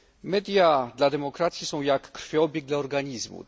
Media dla demokracji są jak krwioobieg dla organizmu.